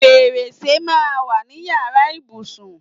Fèrèsè máa ń wà ní yàrá ìbùsùn.